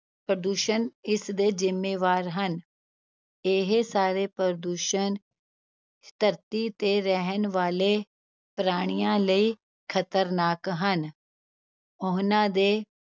ਪ੍ਰਦੂਸ਼ਣ ਇਸਦੇ ਜ਼ਿੰਮੇਵਾਰ ਹਨ, ਇਹ ਸਾਰੇ ਪ੍ਰਦੂਸ਼ਣ ਧਰਤੀ ਤੇ ਰਹਿਣ ਵਾਲੇ ਪ੍ਰਾਣੀਆਂ ਲਈ ਖ਼ਤਰਨਾਕ ਹਨ, ਉਹਨਾਂ ਦੇ